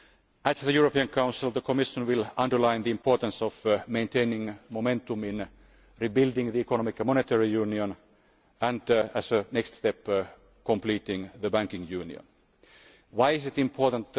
At the European Council, the Commission will underline the importance of maintaining momentum in rebuilding the economic and monetary union and, as a next step, completing the banking union. Why is this important?